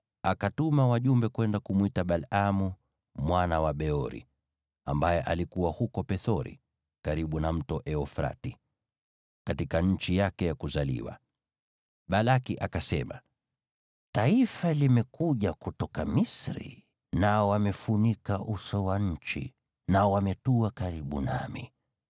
akatuma wajumbe kwenda kumwita Balaamu mwana wa Beori, ambaye alikuwa huko Pethori, karibu na Mto Frati, katika nchi yake ya kuzaliwa. Balaki akasema: “Taifa limekuja kutoka Misri, nao wamefunika uso wa nchi, nao wametua karibu nami.